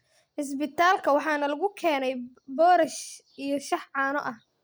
Cisbitaalka waxa nalagu keenay Boorash iyo shaah caano ah